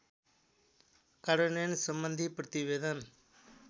कार्यान्वयनसम्बन्धी प्रतिवेदन